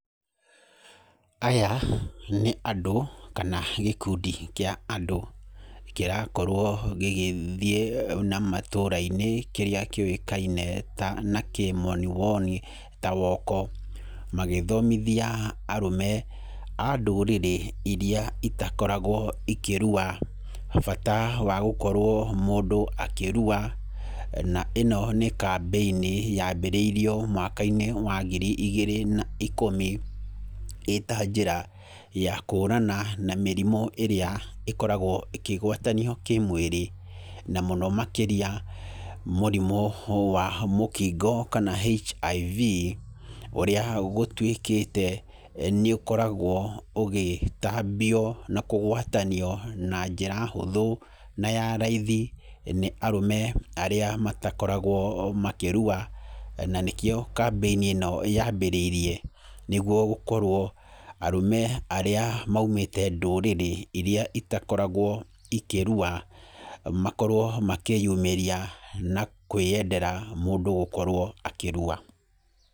Aya nĩ andũ kana gĩkundi kĩa andũ, kĩrakorwo gĩgĩthiĩ na matũũra-inĩ kĩrĩa kĩũkaine ta na kĩmonimoni ta woko. Magĩthomithia arũme, a ndũrĩrĩ irĩa itakoragwo ikĩrua, bata wa gũkorwo mũndũ akĩrua. Na ĩno nĩ kambĩini yambĩrĩirwo mwaka-inĩ wa ngiri igĩrĩ na ikũmi, ĩta njĩra ya kũhũrana na mĩrimũ ĩrĩa ĩkoragwo ĩkĩgwatanio kĩmwĩrĩ. Na mũno makĩria, mũrimũ wa mũkingo kana HIV, ũrĩa gũtuĩkĩte, nĩ ũkoragwo ũgĩtambio na kũgwatanio na njĩra hũthũ, na ya raithi, nĩ arũme arĩa matakoragwo makĩrua. Na nĩkĩo kambĩini ĩno yambĩrĩirie, nĩguo gũkorwo arũme arĩa maumĩte ndũrĩrĩ irĩa itakoragwo ikĩrua, makorwo makĩyumĩria na kwĩyendera mũndũ gũkorwo akĩrua.